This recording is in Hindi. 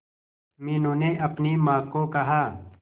मीनू ने अपनी मां को कहा